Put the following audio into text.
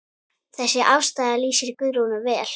Þessi afstaða lýsir Guðrúnu vel.